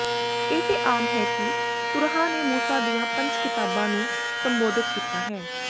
ਇਹ ਆਮ ਹੈ ਕਿ ਤੁਰਾਹ ਨੇ ਮੂਸਾ ਦੀਆਂ ਪੰਜ ਕਿਤਾਬਾਂ ਨੂੰ ਸੰਬੋਧਿਤ ਕੀਤਾ ਹੈ